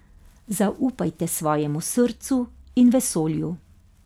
Zaupajte svojemu srcu in vesolju.